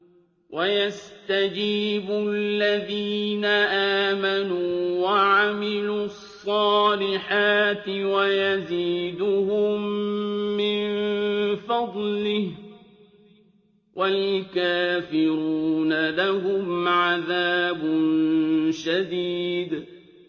وَيَسْتَجِيبُ الَّذِينَ آمَنُوا وَعَمِلُوا الصَّالِحَاتِ وَيَزِيدُهُم مِّن فَضْلِهِ ۚ وَالْكَافِرُونَ لَهُمْ عَذَابٌ شَدِيدٌ